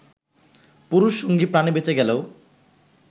পুরুষ সঙ্গী প্রাণে বেঁচে গেলেও